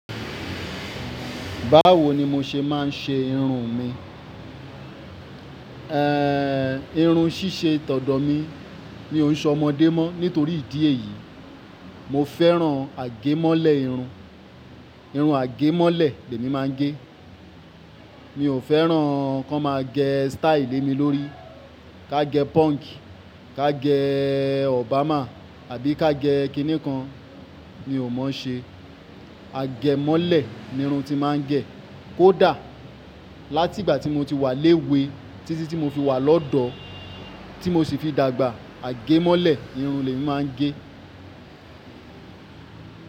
Báwo ni mo ṣe máa ń ṣe irun mi? Irun ṣíṣe tọ̀dọ̀ mi mi ó ń se ọmọdé mọ́. Nítorí ìdí èyí, mo fẹ́ràn àgemọ́lẹ̀ irun. Irun àgẹ̀mọ́lẹ̀ lèmi máa ń gé. Mi ò fẹ́ràn kí wọ́n má a gẹ̀ style le mi lórí. Ká gẹ̀ punk, ká gẹ̀ Obama àbí ká gẹ̀ kíni kan, mi ò mọ̀ ọ́n ṣe. Àgẹ̀mọ́lẹ̀ ni irun ti n mà ń gẹ̀. Kódà láti ìgbà tí mo ti wà léwe títí tí mo fi wà lọ́dọ̀ tí mo sì fi dàgbà, àgemọ́lẹ̀ irun lemí mà ń ge.